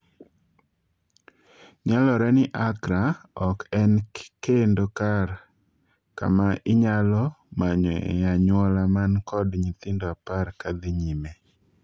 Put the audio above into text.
Nyalore ni Accra ok en kendo kar ma inyalo manyo e anyuola man kod nyithindo apar ksdhii nyime